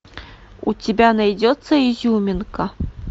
у тебя найдется изюминка